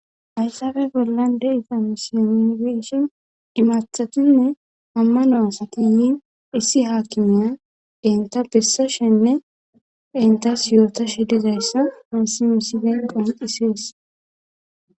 aysafe bollande ifamisiyamgeshen imathatinne ammanoasa kiyin issi haakimiya enta bessa shenne entas yoota shedizayssa hansi misi benqon hisees